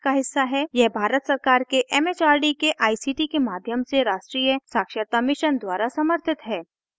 यह भारत सरकार के it it आर डी के आई सी टी के माध्यम से राष्ट्रीय साक्षरता mission द्वारा समर्थित है